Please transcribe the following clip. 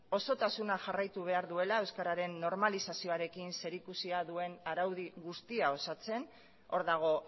osotasuna jarraitu behar duela euskararen normalizazioarekin zerikusia duen araudi guztia osatzen hor dago